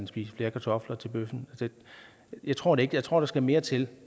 spise flere kartofler til bøffen jeg tror det ikke jeg tror at der skal mere til